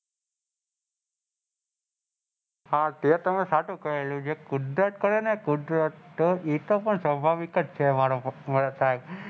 હા તે તમેં સાચું કહેલું કુદરત કરેને કુદરત તો એતો પણ સ્વાભાવિક્જ કે માર્ક થાય.